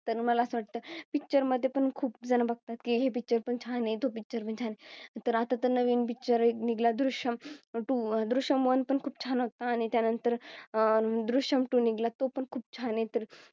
तर मला असे वाटते Picture मध्ये पण खूप जण बघतात हे Picture पण छान आहे तो Picture छान तर आता तर नवीन पिक्चर निघाला दृश्यम तू दृश्यम One पण खूप छान होता आणि त्यानंतर दृश्यम Two निघाला तो पण खूप छान आहे तर